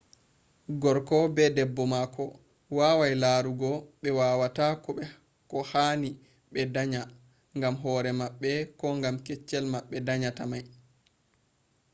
gorko be debbo mako wawai larugo ɓe wawata ko hanai ɓe danya gam hore maɓɓe ko gam keccel ɓe danyata mai